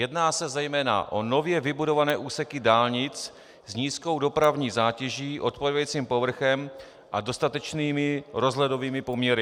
Jedná se zejména o nově vybudované úseky dálnic s nízkou dopravní zátěží, odpovídajícím povrchem a dostatečnými rozhledovými poměry.